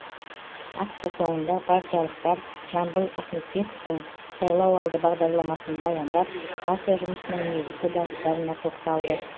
акция соңында партиялықтар жамбыл ахметбековтың сайлауалды бағдарламасын баяндап партия жұмысының негізгі бағыттарына тоқталды